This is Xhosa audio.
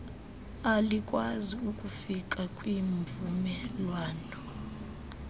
alikwazi kufika kwimvumelwano